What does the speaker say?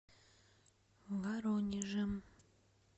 воронежем